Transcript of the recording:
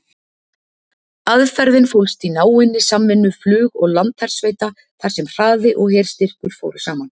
Aðferðin fólst í náinni samvinnu flug- og landhersveita þar sem hraði og herstyrkur fóru saman.